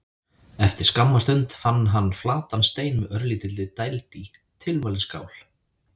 Eftir skamma stund fann hann flatan stein með örlítilli dæld í: tilvalin skál.